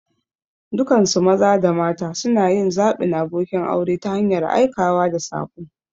Dukansu maza da mata suna yin zaɓin abokin aure ta hanyar aikawa da saƙo.